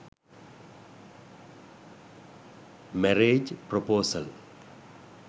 marriage praposal